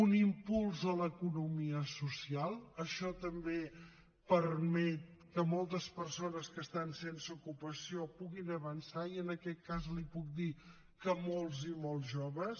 un impuls a l’economia social això també permet que moltes persones que estan sense ocupació puguin avançar i en aquest cas li puc dir que molts i molts joves